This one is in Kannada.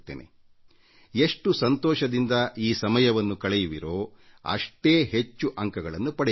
ಈ ಕಾಲದಲ್ಲಿ ನೀವು ಎಷ್ಟು ಸಂತೋಷದಿಂದ ಇರುತ್ತೀರೋ ಅಷ್ಟು ಹೆಚ್ಚು ಅಂಕಗಳನ್ನು ಪಡೆಯುತ್ತೀರಿ